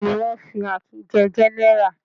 Bẹ́ẹ̀ ni, wọ́n fi Akin jẹ gẹ́nẹrà.